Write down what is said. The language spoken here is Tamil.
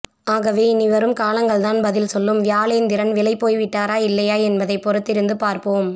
ஆகவே இனி வரும் காலங்கள்தான் பதில் சொல்லும் வியாளேந்திரன் விலை போய் விட்டாரா இல்லயா என்பதை பொறுத்தித்திருந்து பார்ப்போம்